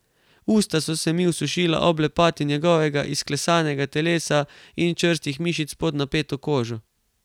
Usta so se mi osušila ob lepoti njegovega izklesanega telesa in čvrstih mišic pod napeto kožo.